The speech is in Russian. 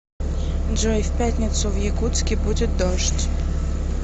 джой в пятницу в якутске будет дождь